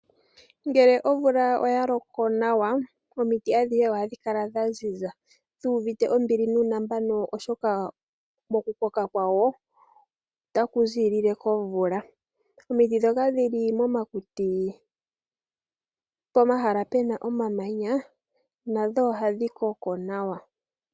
Ngele omvula oya loko nawa, omiti adhihe oha dhi kala dha ziza, dhu uvite ombili nuunambano oshoka, moku koka kwadho ota ku ziilile komvula. Omiti ndhoka dhili momakuti, pomahala pena omamanya, nadho oha dhi koko nawa.